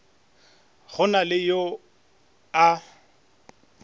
go na le yo a